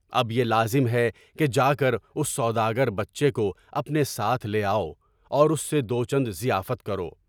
اب یہ لازم ہے کہ جا کر اُس سوداگر بچے کو اپنے ساتھ لے آؤ، اور اُس سے دوچند ضیافت کرو۔